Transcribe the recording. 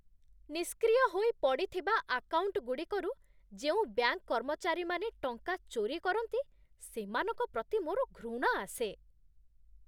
ନିଷ୍କ୍ରିୟ ହୋଇ ପଡ଼ିଥିବା ଆକାଉଣ୍ଟଗୁଡ଼ିକରୁ ଯେଉଁ ବ୍ୟାଙ୍କ କର୍ମଚାରୀମାନେ ଟଙ୍କା ଚୋରି କରନ୍ତି, ସେମାନଙ୍କ ପ୍ରତି ମୋର ଘୃଣା ଆସେ।